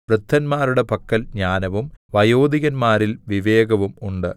വൃദ്ധന്മാരുടെ പക്കൽ ജ്ഞാനവും വയോധികന്മാരിൽ വിവേകവും ഉണ്ട്